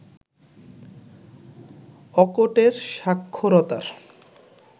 অকোটের সাক্ষরতার